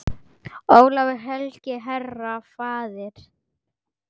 Ólafur helgi, herra, faðir.